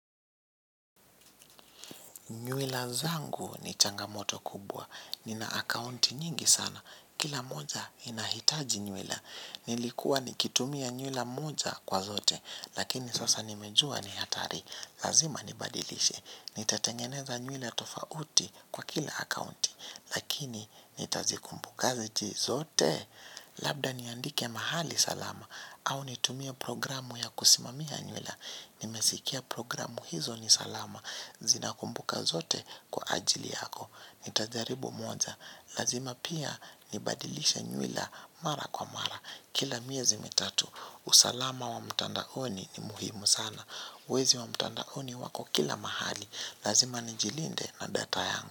Nyuila zangu ni changamoto kubwa. Nina akaunti nyingi sana. Kila moja inahitaji nywila. Nilikuwa nikitumia nywila moja kwa zote. Lakini sasa nimejua ni hatari. Lazima nibadilishe. Nitatengeneza nywila tofauti kwa kila akaunti. Lakini nitazikumbuka zote. Labda niandike mahali salama. Au nitumia programu ya kusimamia nywila. Nimesikia programu hizo ni salama. Zinakumbuka zote kwa ajili yako. Nitajaribu moja. Lazima pia nibadilisha nyuila mara kwa mara. Kila miezi mitatu usalama wa mtandaoni ni muhimu sana. Wezi wa mtandaoni wako kila mahali. Lazima nijilinde na data yangu.